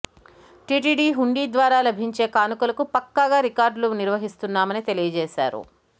TTD హుండీ ద్వారా లభించే కానుకలకు పక్కాగా రికార్డులు నిర్వహిస్తున్నామని తెలియజేశారు